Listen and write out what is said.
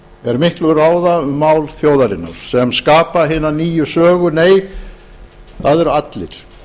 er miklu ráða um mál þjóðarinnar sem skapa hina nýju sögu nei það eru allir